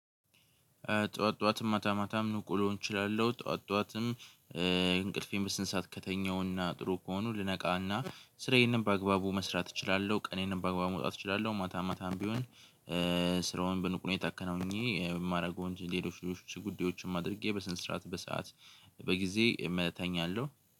ጠዋት ጠዋት ማታ ማታም ንቁ ልሆን እችላለሁ። ጠዋት ጠዋትም እንቅልፌን በስነ ስርዓት ከተኛሁና ጥሩ ከሆኑ ልነቃና ስራዬንም በአግባቡ መስራት እችላለሁ። ቀኔንን በአግባቡ መውጣት እችላለሁ። ማታ ማታም ቢሆን ስራውን በንቁ ሁኔታ አከናውኝ የማደርገው ሌሎች ሌሎች ጉዳዮችን አድርጌ በስነ ሰርዓት በሰአት በጊዜ እመተኛለሁ።